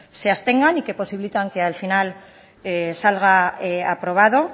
se abstengan y que posibiliten que al final salga aprobado